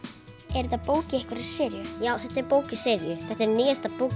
er þetta bók í einhverri seríu já þetta er bók í seríu þetta er nýjasta bókin